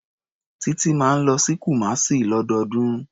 Títí máa ń lọ sí Kumasi lọ́dọọdún.